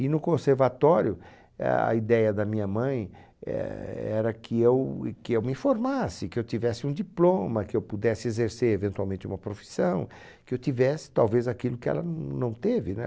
E no conservatório, a ideia da minha mãe éh era que eu que eu me formasse, que eu tivesse um diploma, que eu pudesse exercer eventualmente uma profissão, que eu tivesse talvez aquilo que ela não teve, né?